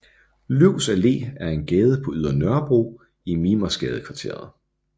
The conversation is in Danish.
Løvs Allé er en gade på Ydre Nørrebro i Mimersgadekvarteret